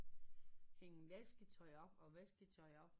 Hænge vasketøj op og vasketøj op